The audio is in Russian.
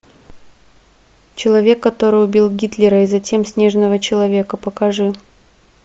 человек который убил гитлера и затем снежного человека покажи